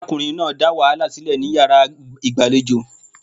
Arákunrin náà dá wàhálà sílẹ̀ ní yàrá ìgbàlejò.